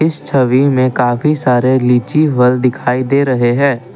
इस छवि में काफी सारे लीची फल दिखाई दे रहे हैं।